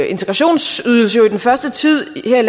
integrationsydelse i den første tid